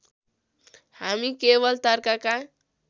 हामी केवल तर्कका